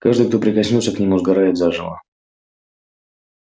каждый кто прикоснётся к нему сгорает заживо